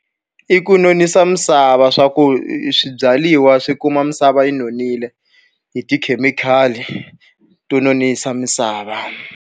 I ku nonisa misava leswaku swibyariwa swi kuma misava yi nonile hi tikhemikhali to nonisa misava.